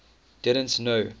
didn t know